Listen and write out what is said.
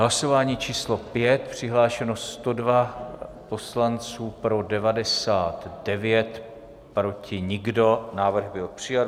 Hlasování číslo 5, přihlášeno 102 poslanců, pro 99, proti nikdo, návrh byl přijat.